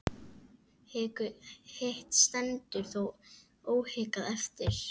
Hitt stendur þó óhikað eftir.